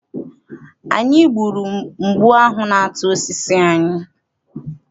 Anyị gburu mgbu ahụ na-ata osisi anyị.